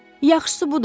Yaxşısı budur.